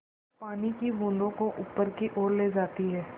पानी की बूँदों को ऊपर की ओर ले जाती है